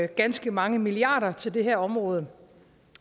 ganske mange milliarder til det her område